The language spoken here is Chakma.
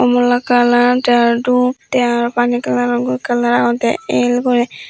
mulakalar tay arow dup tay arow pani kalaror guri agon tey el gori.